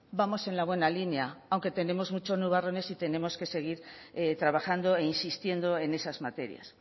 vamos en la buena línea aunque tenemos muchos nubarrones y tenemos que seguir trabajando e insistiendo en esas materias